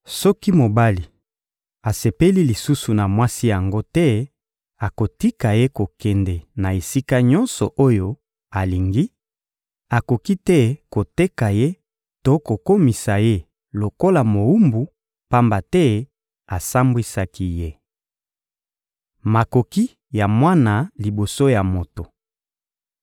Soki mobali asepeli lisusu na mwasi yango te, akotika ye kokende na esika nyonso oyo alingi; akoki te koteka ye to kokomisa ye lokola mowumbu, pamba te asambwisaki ye. Makoki ya mwana liboso ya moto